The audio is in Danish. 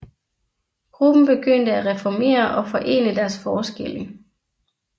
Gruppen begyndte at reformere og forene deres forskelle